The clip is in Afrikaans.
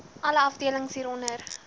alle afdelings hieronder